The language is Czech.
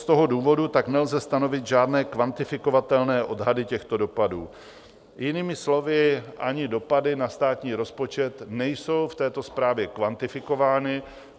Z toho důvodu tak nelze stanovit žádné kvantifikovatelné odhady těchto dopadů, jinými slovy, ani dopady na státní rozpočet nejsou v této zprávě kvantifikované.